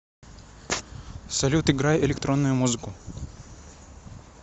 салют играй электронную музыку